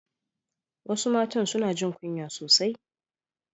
Wasu matan suna jin kunya sosai